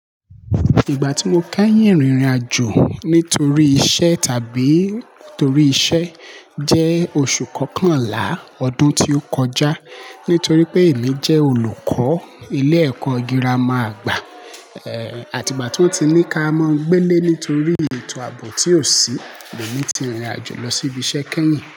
Ìgbà tí mo kẹ́yìn rìnrìn àjò nítorí iṣẹ́ tàbí torí iṣẹ́ jẹ́ oṣù kọkànlá ọdún tí ó kọjá. Nítorí pé èmi jẹ́ olùkọ́ ilé ẹ̀kọ́ girama àgbà, eh, àti ìgbà tí wọ́n ti ní ká mọ́ gbélé nítorí ètò àbò tí ò sí, èmi ti rìnrìn àjò lọ sí ibi iṣẹ́ kẹ́yìn.